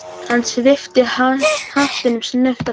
Hann svipti hattinum snöggt af sér.